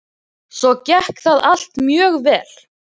Svo gekk það allt mjög vel.